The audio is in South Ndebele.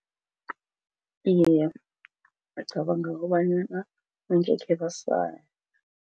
Iye, bacabanga kobanyana umuntu ngekhe